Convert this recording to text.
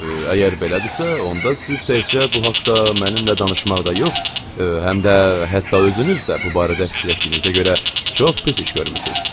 Əgər belədirsə, onda siz təkcə bu haqda mənimlə danışmaqda yox, həm də hətta özünüz də bu barədə fikirləşdiyinizə görə çox pis iş görmüsüz.